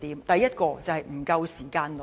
第一，就是不夠時間論。